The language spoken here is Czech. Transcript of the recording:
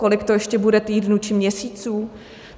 Kolik to ještě bude týdnů či měsíců?